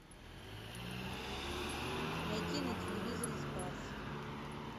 найти на телевизоре спас